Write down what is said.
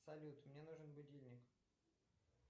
салют мне нужен будильник